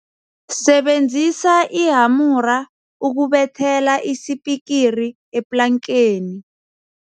Sebenzisa ihamura ukubethela isipikiri eplankeni.